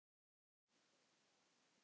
Hvað býr að baki?